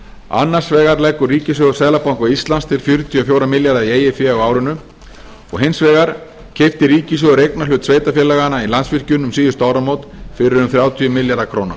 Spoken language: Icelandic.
annars vegar leggur ríkissjóður seðlabanka íslands til fjörutíu og fjóra milljarða í eigið fé á árinu og hins vegar keypti ríkissjóður eignarhlut sveitarfélaganna í landsvirkjun um síðustu áramót fyrir um þrjátíu milljarða króna